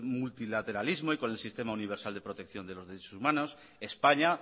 multilateralismo y con el sistema universal de protección de los derechos humanos españa